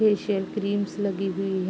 facial creams लगी हुई ह --